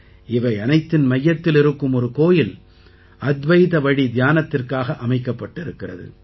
இவையனைத்தின் மையத்தில் இருக்கும் ஒரு கோயில் அத்வைதவழி தியானத்திற்காக அமைக்கப்பட்டிருக்கிறது